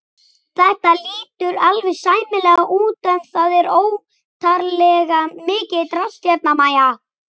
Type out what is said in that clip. Þetta lítur alveg sæmilega út en það er óttalega mikið drasl hérna MÆJA!